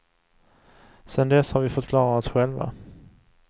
Sen dess har vi fått klara oss själva.